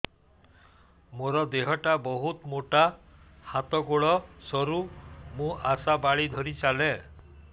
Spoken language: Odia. ମୋର ଦେହ ଟା ବହୁତ ମୋଟା ହାତ ଗୋଡ଼ ସରୁ ମୁ ଆଶା ବାଡ଼ି ଧରି ଚାଲେ